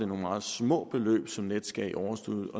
nogle meget små beløb som nets gav i overskud